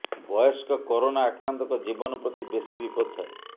ବୟସ୍କ କରୋନା ଆକ୍ରାନ୍ତଙ୍କ ଜୀବନ ପ୍ରତି ବେଶି ବିପଦ ଥାଏ